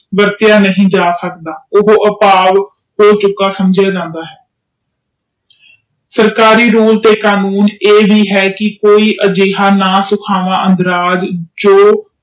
ਵਰਤਿਆ ਨਹੀਂ ਜਾ ਸਕਦਾ ਉਹ ਹੋ ਚੁੱਕਿਆ ਸਮਝਾ ਜਾਂਦਾ ਹੈ ਸਰਕਾਰੀ ਰੂਲ ਤੇ ਕਾਨੂੰਨ ਇਹ ਹੀ ਹੈ ਕਿ ਕੋਈ